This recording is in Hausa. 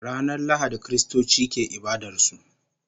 Ranar Lahadi Kiristoci ke ibadar su